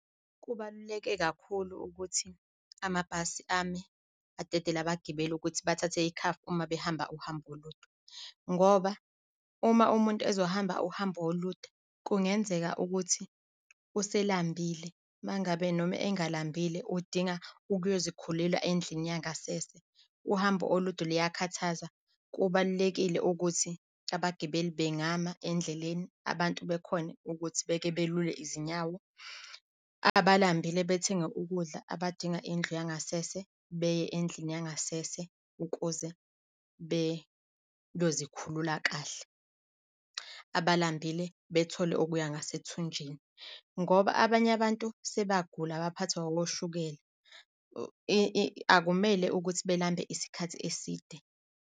Kubaluleke kakhulu ukuthi amabhasi ame adedele abagibeli ukuthi bathathe ikhafu uma behamba uhambo olude ngoba uma umuntu ezohamba uhambo olude, kungenzeka ukuthi uselambile uma ngabe noma engalambile udinga ukuyozikhulula endlini yangasese. uhambo olude luyakhathaza. Kubalulekile ukuthi abagibeli bengama endleleni abantu bekhone ukuthi beke belule izinyawo. Abalambile bethenge ukudla, abadinga indlu yangasese beye endlini yangasese ukuze beyozikhulula kahle, abalambile bethole okuya ngasethunjini. Ngoba abanye abantu sebagula baphathwa oshukela, akumele ukuthi belambe isikhathi eside.